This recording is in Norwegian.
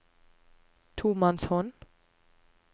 tomannshånd